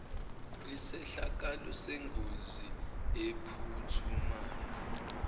isehlakalo sengozi ephuthumayo